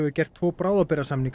gert tvo